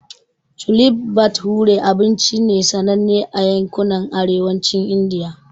Chole bhature abinci ne sananne a yankunan Arewacin Indiya.